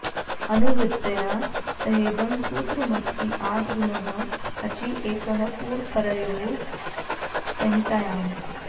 अनुवृत्त्या सहेदं सूत्रमस्ति आद् गुणः अचि एकः पूर्वपरयोः संहितायाम्